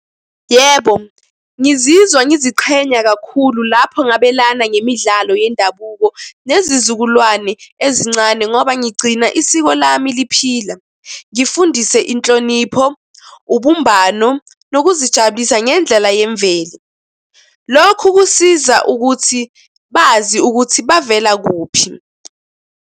Yebo, ngizizwa ngiziqhenya kakhulu lapho ngabelana ngemidlalo yendabuko nezizukulwane ezincane ngoba ngigcina isiko lami liphila. Ngifundise inhlonipho, ubumbano, nokuzijabulisa ngendlela yemvelo. Lokhu kusiza ukuthi bazi ukuthi bavela kuphi.